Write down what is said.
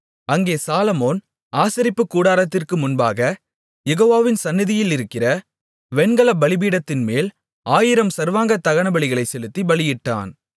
அங்கே சாலொமோன் ஆசரிப்புக்கூடாரத்திற்கு முன்பாகக் யெகோவாவின் சந்நிதியிலிருக்கிற வெண்கலப் பலிபீடத்தின்மேல் ஆயிரம் சர்வாங்க தகனபலிகளைச் செலுத்தி பலியிட்டான்